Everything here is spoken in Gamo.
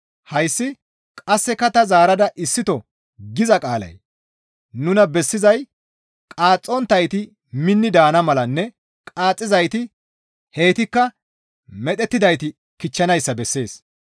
Hayssi, «Qasseka ta zaarada issito» giza qaalay nuna bessizay qaaxxonttayti minni daana malanne qaaxxizayti heytikka medhettidayti kichchanayssa bessees.